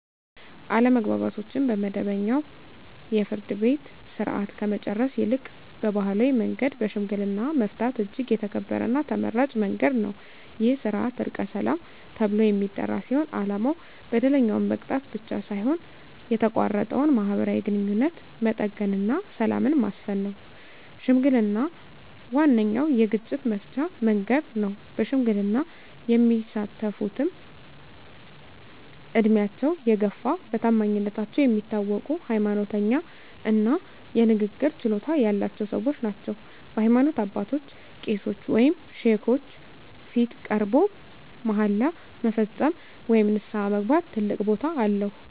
አለመግባባቶችን በመደበኛው የፍርድ ቤት ሥርዓት ከመጨረስ ይልቅ በባሕላዊ መንገድ በሽምግልና መፍታት እጅግ የተከበረና ተመራጭ መንገድ ነው። ይህ ሥርዓት "ዕርቀ ሰላም" ተብሎ የሚጠራ ሲሆን፣ ዓላማው በደለኛውን መቅጣት ብቻ ሳይሆን የተቋረጠውን ማኅበራዊ ግንኙነት መጠገንና ሰላምን ማስፈን ነው። ሽምግልና ዋነኛው የግጭት መፍቻ መንገድ ነው። በሽምግልና የሚሳተፍትም ዕድሜያቸው የገፋ፣ በታማኝነታቸው የሚታወቁ፣ ሃይማኖተኛ እና የንግግር ችሎታ ያላቸው ሰዎች ናቸው። በሃይማኖት አባቶች (ቄሶች ወይም ሼኮች) ፊት ቀርቦ መሃላ መፈጸም ወይም ንስሐ መግባት ትልቅ ቦታ አለው።